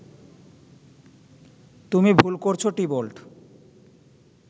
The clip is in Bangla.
তুমি ভুল করছ টিবল্ট